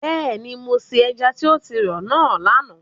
Bẹ́ẹ̀ni, mo se ẹja tí o ti rọ̀ náà lánàá.